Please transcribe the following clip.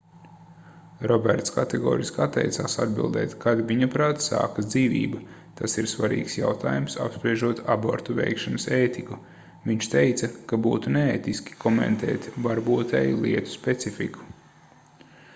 roberts kategoriski atteicās atbildēt kad viņaprāt sākas dzīvība tas ir svarīgs jautājums apspriežot abortu veikšanas ētiku viņš teica ka būtu neētiski komentēt varbūtēju lietu specifiku